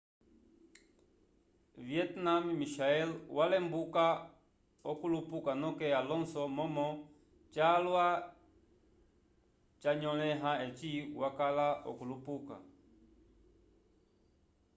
vietnamemichael walembuka okulupuka noke alonso momo calwa ca nyoleha eci wakala okulupuka